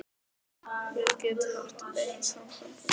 Ég get haft beint samband við guð.